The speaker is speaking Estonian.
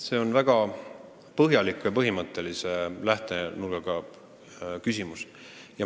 See on väga põhimõttelise lähtekoha küsimus.